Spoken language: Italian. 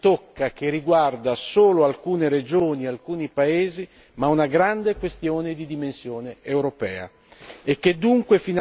non è un problema che tocca e riguarda solo alcune regioni e alcuni paesi, ma una grande questione di dimensione europea.